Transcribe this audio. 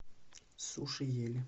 суши ели